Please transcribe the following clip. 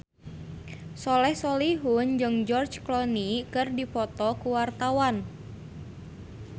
Soleh Solihun jeung George Clooney keur dipoto ku wartawan